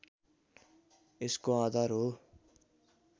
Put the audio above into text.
यसको आधार हो